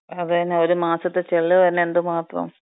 അതന്നെ, ഒരു മാസത്തെ ചെലവ് തന്ന എന്തുമാത്രം. അല്ലെ?